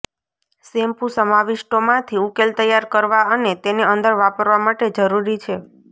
shampoo સમાવિષ્ટો માંથી ઉકેલ તૈયાર કરવા અને તેને અંદર વાપરવા માટે જરૂરી છે